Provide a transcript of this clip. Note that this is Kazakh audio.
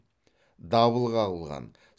дабыл қағылған